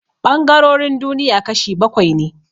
Ɓangarorin duniya kashi bakwai ne